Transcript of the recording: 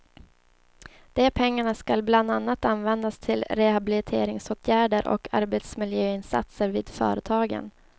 De pengarna skall bland annat användas till rehabiliteringsåtgärder och arbetsmiljöinsatser vid företagen.